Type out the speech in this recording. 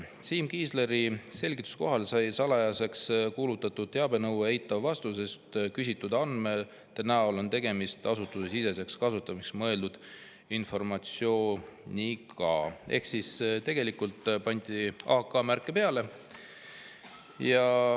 Siim Kiisleri selgituse kohaselt sai salajaseks kuulutatud teabenõue eitava vastuse, sest küsitud andmete näol on tegemist asutusesiseseks kasutamiseks mõeldud informatsiooniga, ehk siis tegelikult pandi AK-märge peale.